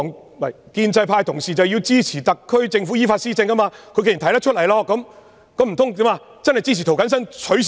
因為建制派同事支持特區政府依法施政；既然已經提出，難道支持涂謹申議員取消嗎？